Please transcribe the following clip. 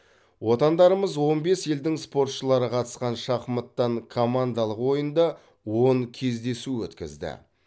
отандарымыз он бес елдің спортшылары қатысқан шахматтан командалық ойында он кездесу өткізді